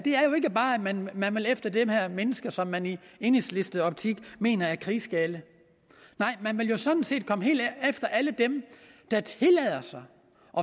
er jo ikke bare at man man vil efter de mennesker som man i enhedslistens optik mener er krigsgale nej man vil sådan set komme efter alle dem der tillader sig